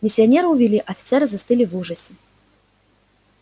миссионера увели офицеры застыли в ужасе